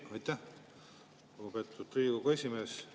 Aitäh, lugupeetud Riigikogu esimees!